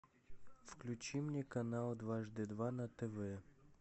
включи мне канал дважды два на тв